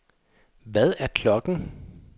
Hvad er klokken